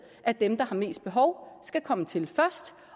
at dem der har mest behov skal komme til først